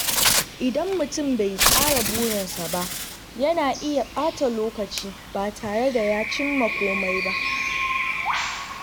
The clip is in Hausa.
Idan mutum bai tsara burinsa ba, yana iya ɓata lokaci ba tare da ya cimma komai ba.